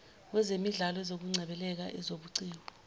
wezemidlalo ezokungcebeleka ezobuciko